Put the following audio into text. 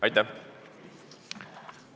Aitäh!